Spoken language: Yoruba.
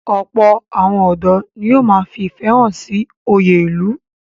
Ọ̀pọ̀ àwọn ọ̀dọ́ ni yóò ma fi ìfẹ́ hàn sí oyè ìlú.